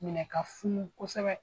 Minɛ ka funu kosɛbɛ.